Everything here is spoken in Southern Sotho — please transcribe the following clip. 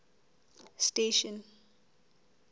station